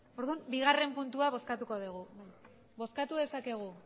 orduan bigarren puntua bozkatuko dugu bozkatu dezakegu